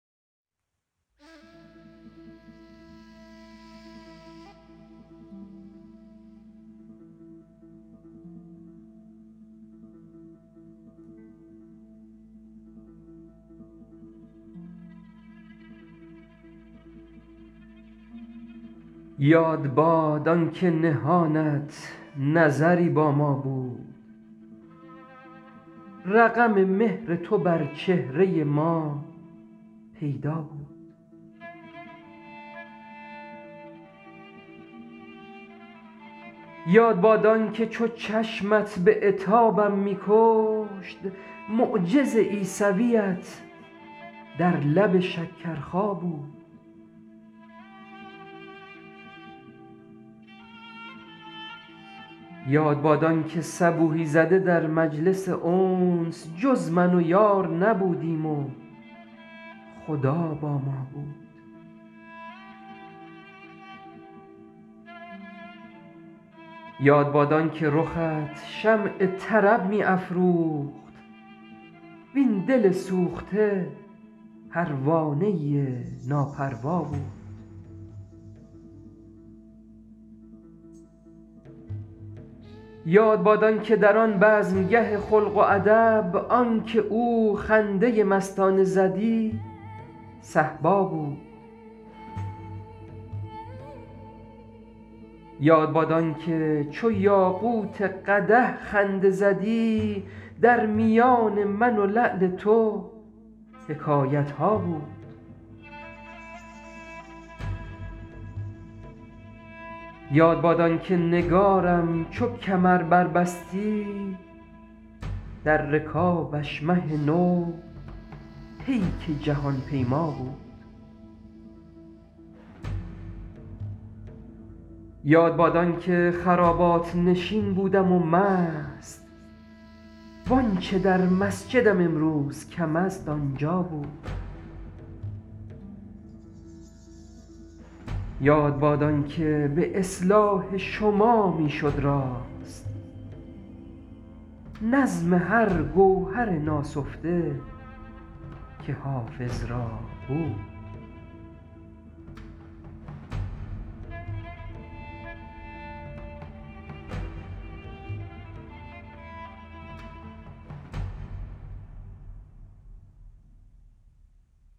یاد باد آن که نهانت نظری با ما بود رقم مهر تو بر چهره ما پیدا بود یاد باد آن که چو چشمت به عتابم می کشت معجز عیسویت در لب شکرخا بود یاد باد آن که صبوحی زده در مجلس انس جز من و یار نبودیم و خدا با ما بود یاد باد آن که رخت شمع طرب می افروخت وین دل سوخته پروانه ناپروا بود یاد باد آن که در آن بزمگه خلق و ادب آن که او خنده مستانه زدی صهبا بود یاد باد آن که چو یاقوت قدح خنده زدی در میان من و لعل تو حکایت ها بود یاد باد آن که نگارم چو کمر بربستی در رکابش مه نو پیک جهان پیما بود یاد باد آن که خرابات نشین بودم و مست وآنچه در مسجدم امروز کم است آنجا بود یاد باد آن که به اصلاح شما می شد راست نظم هر گوهر ناسفته که حافظ را بود